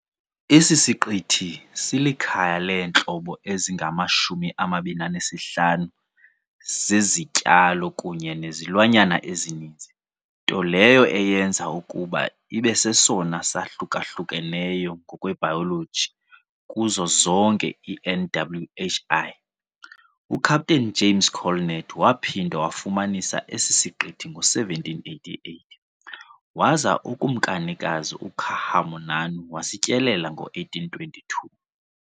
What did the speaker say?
Esi siqithi silikhaya leentlobo ezingama-25 zezityalo kunye nezilwanyana ezininzi, nto leyo eyenza ukuba ibe sesona sahluka-hlukeneyo ngokwebhayoloji kuzo zonke i-NWHI. UCaptain James Colnett waphinda wafumanisa esi siqithi ngo-1788, waza uKumkanikazi uKa'ahumanu wasityelela ngo-1822.